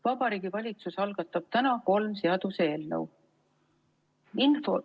Vabariigi Valitsus algatab täna kolm seaduseelnõu.